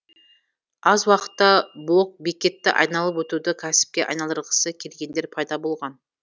аз уақытта блокбекетті айналып өтуді кәсіпке айналдырғысы келгендер пайда болған